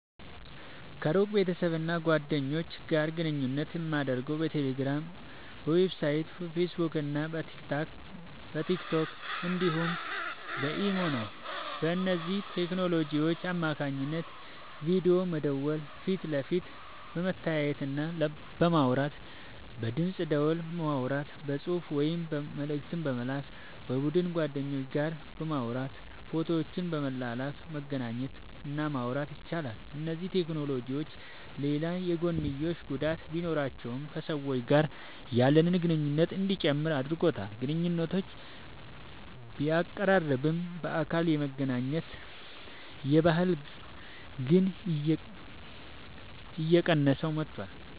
ከሩቅ ቤተሰብና ጓደኞች ጋር ግንኙነት የማደርገው በቴሌግራም፣ በዋትስአፕ፣ በፌስቡክና በቲክቶክ እንዲሁም በኢሞ ነው። በእነዚህ ቴክኖሎጂዎች አማካኝነት በቪዲዮ በመደወል ፊት ለፊት በመተያየትና በማውራት፣ በድምፅ ደወል በማውራት፣ በጽሑፍ ወይም መልእክት በመላክ፣ በቡድን ከጓደኞች ጋር በማውራት ፎቶዎችን በመላላክ መገናኘት እና ማውራት ይቻላል። እነዚህ ቴክኖሎጂዎች ሌላ የጐንዮሽ ጉዳት ቢኖራቸውም ከሰዎች ጋር ያለንን ግንኙነት እንዲጨምር አድርጎታል። ግንኙነቶችን ቢያቀራርብም፣ በአካል የመገናኘት ባህልን ግን እየቀነሰው መጥቷል።